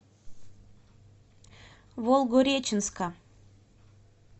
волгореченска